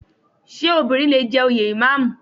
Ṣé obìnrin lè jẹ òye Ìmáàmù?